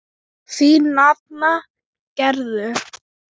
Þín nafna Gerður.